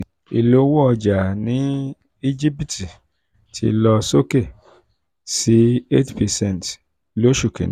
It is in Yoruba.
ìlówó ọjà ní íjíbítì ti lọ sókè um sí eight percent um sí eight percent lóṣù kínní